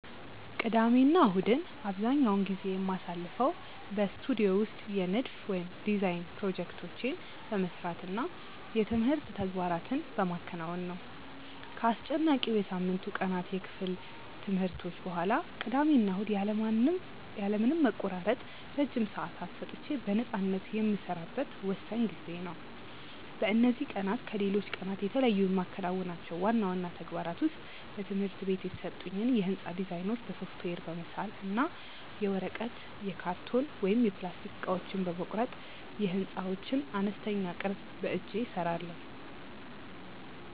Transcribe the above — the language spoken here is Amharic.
ቅዳሜና እሁድን አብዛኛውን ጊዜ የማሳልፈው በስቱዲዮ ውስጥ የንድፍ (Design) ፕሮጀክቶቼን በመስራት እና የትምህርት ተግባራትን በማከናወን ነው። ከአስጨናቂው የሳምንቱ ቀናት የክፍል ትምህርቶች በኋላ፣ ቅዳሜና እሁድ ያለ ምንም መቆራረጥ ረጅም ሰዓታት ሰጥቼ በነፃነት የምሰራበት ወሳኝ ጊዜዬ ነው። በእነዚህ ቀናት ከሌሎች ቀናት የተለዩ የማከናውናቸው ዋና ዋና ተግባራት ውስጥ በትምህርት ቤት የተሰጡኝን የሕንፃ ዲዛይኖች በሶፍትዌር በመሳል እና የወረቀት፣ የካርቶን ወይም የፕላስቲክ እቃዎችን በመቁረጥ የሕንፃዎችን አነስተኛ ቅርፅ በእጄ እሰራለሁ።